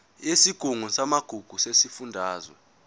yesigungu samagugu sesifundazwe